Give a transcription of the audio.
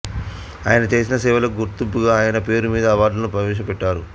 ఆయన చేసిన సేవలకు గుర్తింపుగా ఆయన పేరుమీద అవార్డును ప్రవేశపెట్టారు